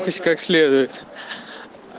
то есть как следует